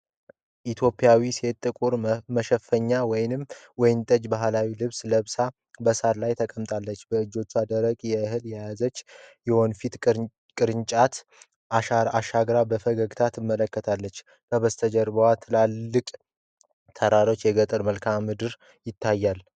ኢትዮጵያዊት ሴት ጥቁር መሸፈኛ እና ወይንጠጃማ ባህላዊ ልብስ ለብሳ በሳር ላይ ተቀምጣለች። በእጆቿ ደረቅ እህል የያዘች የወንፊት ቅርጫት አሻግራ በፈገግታ ትመለከታለች። ከበስተጀርባ ትልልቅ ተራሮችና የገጠር መልክዓ ምድር ይታያል።